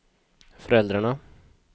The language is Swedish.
föräldrarna